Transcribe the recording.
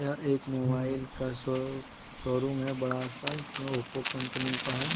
यह एक मोबाइल का शॉप शोरूम है बड़ा सा इसमें ओप्पो कंपनी का है।